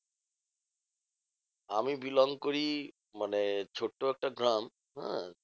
আমি belong করি মানে ছোট্ট একটা গ্রাম, হ্যাঁ?